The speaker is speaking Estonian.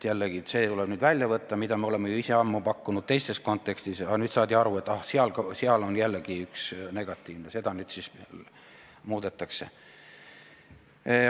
Jällegi, see tuleb nüüd sealt välja võtta, mida me ise oleme ju ammu pakkunud teises kontekstis, aga nüüd saadi aru, et seal on jällegi üks negatiivne asi, seda nüüd muudetakse.